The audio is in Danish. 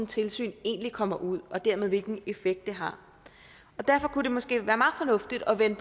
tilsyn egentlig kommer ud og dermed hvilken effekt det her og derfor kunne det måske være meget fornuftigt at vende